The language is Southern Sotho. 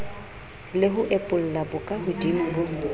le ho epolla bokahodimo bo